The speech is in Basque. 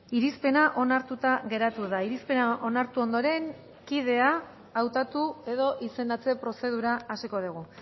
irizpena onartuta geratu da irizpena onartu ondoren kidea hautatu edo izendatze prozedura hasiko dugu